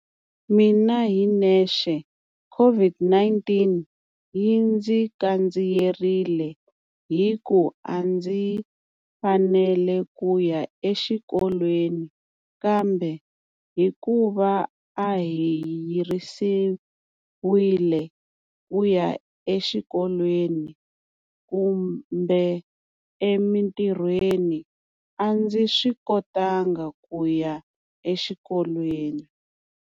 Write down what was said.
Mina hi nexe CIVID-19 yi ndzi kandziyerile hiku a ndzi fanele ku ya exikolweni Kamba hikuva a hi yirisiwile ku ya eswikolweni kumba emintirhweni a ndzi swi kotanga ku ya exikolweni.